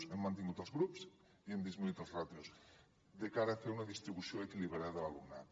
hem mantingut els grups i hem disminuït les ràtios de cara a fer una distribució equilibrada de l’alumnat